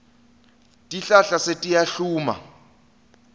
tihlahla setiyahluma